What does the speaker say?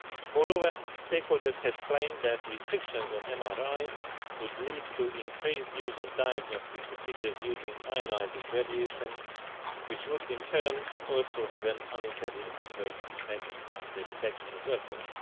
Moreover, stakeholders have claimed that restrictions on MRI could lead to increased use of diagnostic procedures using ionising radiation, which would in turn also have an unintended adverse effect on the protection of workers.